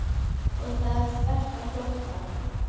Og það þvert á flokka.